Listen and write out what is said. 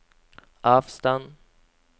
avstand